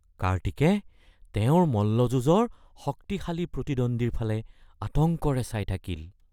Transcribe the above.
কাৰ্তিকে তেওঁৰ মল্লযুঁজৰ শক্তিশালী প্ৰতিদ্বন্দ্বীৰ ফালে আতংকৰে চাই থাকিল